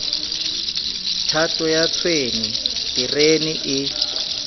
thato ya tshwene terene e